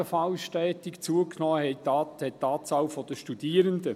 Ebenfalls stetig zugenommen hat die Anzahl der Studierenden.